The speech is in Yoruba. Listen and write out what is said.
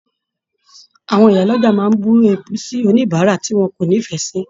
Àwọn ìyá l'ọja máa bù èébù sí oníbárà tí wọn kò n'ifẹ sí.